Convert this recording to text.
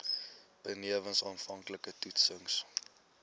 benewens aanvanklike toetsings